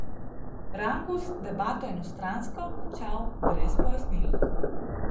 Rangus debato enostransko končal brez pojasnil.